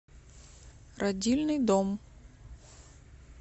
родильный дом